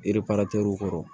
erepiratew kɔrɔ